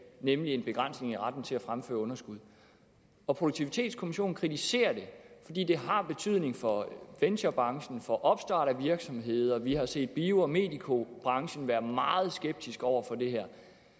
nemlig en begrænsning i retten til at fremføre underskud og produktivitetskommissionen kritiserer det fordi det har betydning for venturebranchen og for opstartsvirksomheder og vi har set bio og medicobranchen være meget skeptisk over for det her